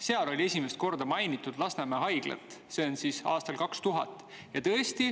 Seal oli esimest korda mainitud Lasnamäe haiglat, see on siis aastal 2000.